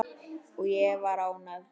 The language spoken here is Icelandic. Og ég var ánægð.